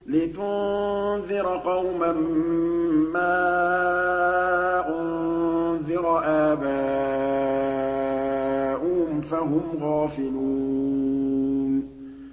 لِتُنذِرَ قَوْمًا مَّا أُنذِرَ آبَاؤُهُمْ فَهُمْ غَافِلُونَ